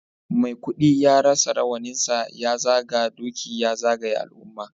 Maikudi ya sa rawaninsa ya zaga doki ya zagaya al'umma